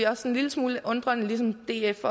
også en lille smule undrende ligesom df